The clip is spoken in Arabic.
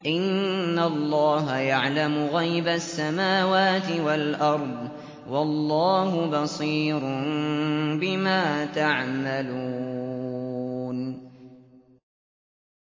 إِنَّ اللَّهَ يَعْلَمُ غَيْبَ السَّمَاوَاتِ وَالْأَرْضِ ۚ وَاللَّهُ بَصِيرٌ بِمَا تَعْمَلُونَ